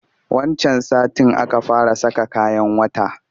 Wancan satin aka fara saka kayan wata